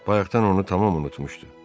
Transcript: Bayaqdan onu tamam unutmuşdu.